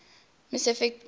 metric space m